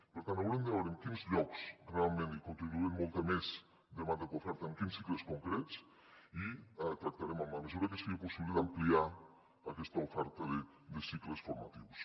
per tant haurem de veure en quins llocs realment hi continua havent molta més demanda que oferta en quins cicles concrets i tractarem en la mesura que sigui possible d’ampliar aquesta oferta de cicles formatius